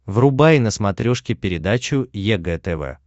врубай на смотрешке передачу егэ тв